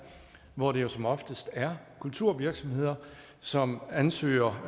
hvor det jo som oftest er kulturvirksomheder som ansøger